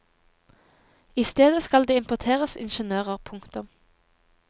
I stedet skal det importeres ingeniører. punktum